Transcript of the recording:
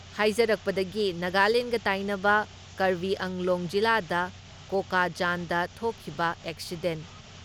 ꯍꯥꯏꯖꯔꯛꯄꯗꯒꯤ ꯅꯒꯥꯂꯦꯟꯒ ꯇꯥꯏꯅꯕ ꯀꯔꯕꯤꯑꯪꯂꯣꯡ ꯖꯤꯂꯥꯗ ꯀꯣꯀꯥꯖꯥꯟꯗ ꯊꯣꯛꯈꯤꯕ ꯑꯦꯛꯁꯤꯗꯦꯟ